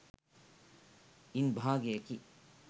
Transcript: ඉන් භාගයකි.